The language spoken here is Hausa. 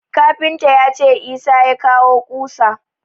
Kafinta ya ce Isah ya kawo ƙusa.